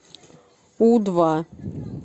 у два